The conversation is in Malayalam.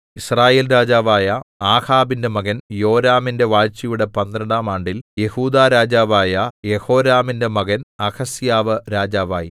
യിസ്രായേൽ രാജാവായ ആഹാബിന്റെ മകൻ യോരാമിന്റെ വാഴ്ചയുടെ പന്ത്രണ്ടാം ആണ്ടിൽ യെഹൂദാ രാജാവായ യെഹോരാമിന്റെ മകൻ അഹസ്യാവ് രാജാവായി